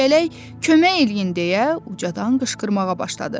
Çiyələk kömək eləyin deyə ucadan qışqırmağa başladı.